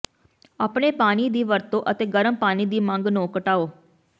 ਆਪਣੇ ਪਾਣੀ ਦੀ ਵਰਤੋਂ ਅਤੇ ਗਰਮ ਪਾਣੀ ਦੀ ਮੰਗ ਨੂੰ ਘਟਾਓ